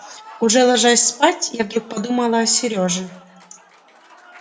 уже ложась спать я вдруг подумала о серёже